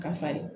Ka farin